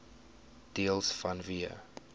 deels vanweë